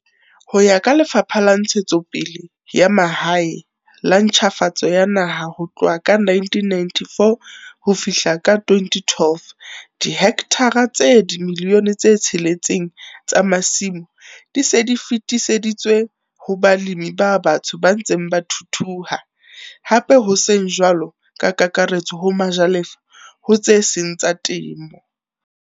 Ho ya ka Lefapha la Ntshetsopele ya Mahae le Ntjhafatso ya Naha ho tloha ka 1994 ho fihla ka 2012 dihekthara tse 6, 971, 293 tsa masimo di se di fetiseditswe ho balemi ba batsho ba ntseng ba thuthuha, hape ho seng jwalo ka kakaretso ho majalefa ho tse seng tsa temo.